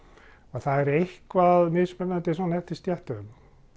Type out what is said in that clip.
það er eitthvað mismunandi svona eftir stéttum